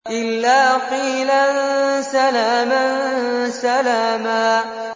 إِلَّا قِيلًا سَلَامًا سَلَامًا